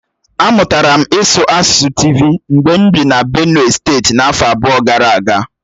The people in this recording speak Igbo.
Amụtara m ịsụ asụsụ Tịvi mgbe m bị na Benue steeti afọ abụọ gara aga.